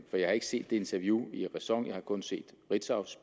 har ikke set det interview i ræson jeg har kun set ritzaus